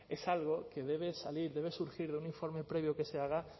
es algo que debe salir debe surgir de un informe previo que se haga